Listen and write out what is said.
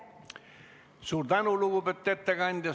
Suur tänu, lugupeetud ettekandja!